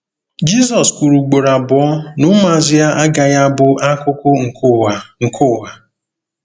Jizọs kwuru ugboro abụọ na ụmụazụ ya agaghị abụ akụkụ nke ụwa nke ụwa.